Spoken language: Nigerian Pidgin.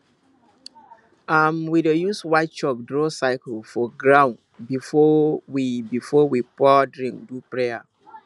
um we dey use white chalk draw circle for ground before we before we pour drink do prayer